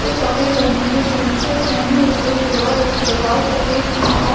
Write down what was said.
वो सफ़ेद और नीले से टी-शर्ट पहने हुए है और इसके बाल सफ़ेद है और --